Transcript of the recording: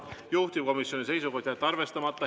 Juhtivkomisjoni seisukoht on jätta see arvestamata.